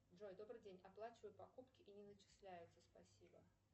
джой добрый день оплачиваю покупки и не начисляются спасибо